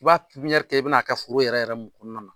I b'a pipiɲɛri kɛ i bɛ n'a kɛ foro yɛrɛ mun kɔnɔnna na.